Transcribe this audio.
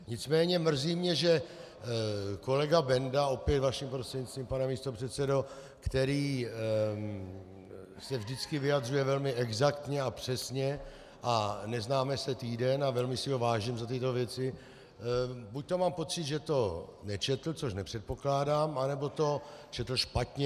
Nicméně mrzí mě, že kolega Benda - opět vaším prostřednictvím, pane místopředsedo -, který se vždycky vyjadřuje velmi exaktně a přesně, a neznáme se týden a velmi si ho vážím za tyto věci, buďto mám pocit, že to nečetl, což nepředpokládám, anebo to četl špatně.